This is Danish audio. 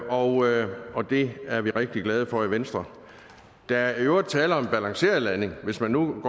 og og det er vi rigtig glade for i venstre der er i øvrigt tale om en balanceret landing hvis man nu